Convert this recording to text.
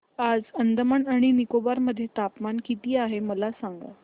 आज अंदमान आणि निकोबार मध्ये तापमान किती आहे मला सांगा